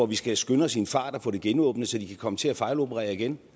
vi skal skynde os i en fart at få genåbnet så de kan komme til at fejloperere igen